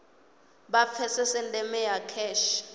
vha pfesese ndeme ya kheshe